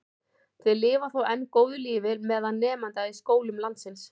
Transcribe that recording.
Þeir lifa þó enn góðu lífi meðal nemenda í skólum landsins.